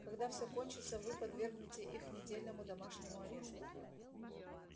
когда все кончится вы подвергнете их недельному домашнему аресту